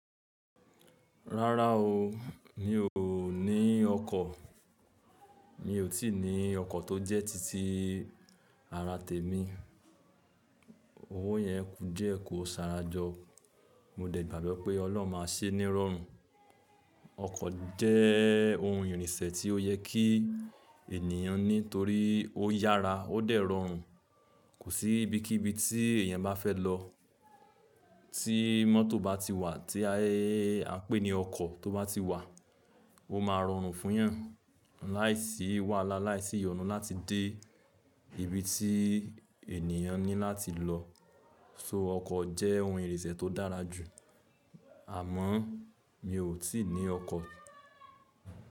Rárá o, mi ò ní ọkọ̀, mi ò tí ì ní ọkọ̀ tó jẹ́ titi ara temi. Owó yẹn ku die kó ṣàrajọ́. Mo dẹ̀ gbàgbọ́ pé Ọlọ́run máa ṣé ní rọrùn. Ọkọ̀ jẹ́ ohun ìrìnsẹ̀ tí ó yẹ kí ènìyàn ní torí ó yára, ó dẹ̀ rọrùn. Kò sí ibi kí ibi tí èyàn bá fẹ́ lọ, tí mọ́tò bá ti wà, tí a pé ní ọkọ̀ tó bá ti wà, ó máa rọrùn fún yàn. Láìsí wàhálà, láìsí ìyọnu láti dé ibi tí ènìyàn ní láti lọ. So ọkọ̀ jẹ́ ohun ìrìnsẹ̀ tó dára jù. Àmọ́ mi ò tí ì ní ọkọ̀